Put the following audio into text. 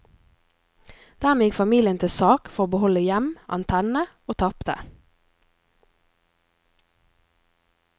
Dermed gikk familien til sak for å beholde hjem, antenne og tapte.